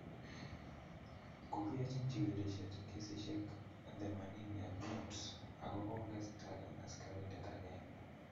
Kogiyochin chigilisyiet kesisiek 85 ago ko gesitagan asikarindet agenge.